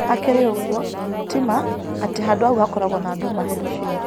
Hakĩrĩ ũgũo, tĩ ma atĩ handũ haũ hakoragwo na nduma hĩndĩ cĩothe